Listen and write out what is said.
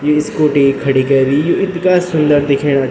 यु Scooty खड़ीं कैरी यु इथगा सुन्दर दिखेणा।